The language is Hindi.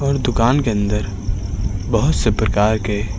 और दुकान के अंदर बहोत से प्रकार के--